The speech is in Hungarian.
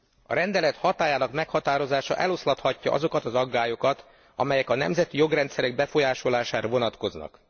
A rendelet hatályának meghatározása eloszlathatja azokat az aggályokat, amelyek a nemzeti jogrendszerek befolyásolására vonatkoznak.